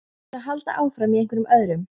Þú áttir að halda áfram, í einhverjum öðrum.